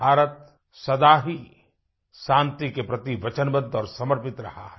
भारत सदा ही शांति के प्रति वचनबद्ध और समर्पित रहा है